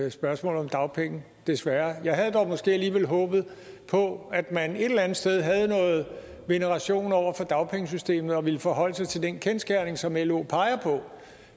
i spørgsmål om dagpengene desværre jeg havde dog måske alligevel håbet på at man et eller andet sted havde noget veneration over for dagpengesystemet og ville forholde sig til den kendsgerning som lo peger på